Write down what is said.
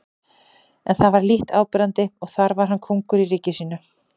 En það var lítt áberandi og þar var hann kóngur í ríki sínu.